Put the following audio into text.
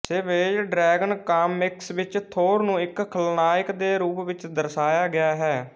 Savage Dragon comics ਵਿਚ Thor ਨੂੰ ਇਕ ਖਲਨਾਇਕ ਦੇ ਰੂਪ ਵਿਚ ਦਰਸਾਇਆ ਗਿਆ ਹੈ